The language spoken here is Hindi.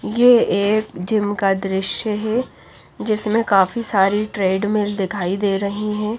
ये एक जिम का दृश्य है जिसमें काफी सारी ट्रेडमिल दिखाई दे रही हैं।